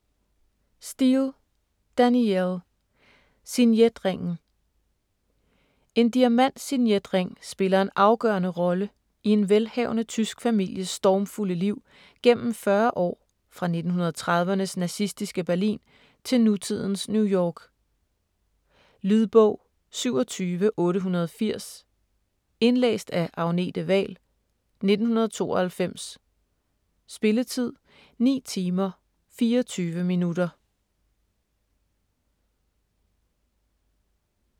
Steel, Danielle: Signetringen En diamantsignetring spiller en afgørende rolle i en velhavende tysk families stormfulde liv gennem 40 år fra 1930'ernes nazistiske Berlin til nutidens New York. Lydbog 27880 Indlæst af Agnete Wahl, 1992. Spilletid: 9 timer, 24 minutter.